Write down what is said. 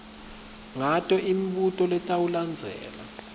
ngato imibuto letawulandzela